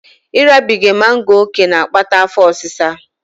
Ịrabiga mango ókè na-akpata afọ osịsa